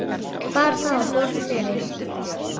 Bar það á borð fyrir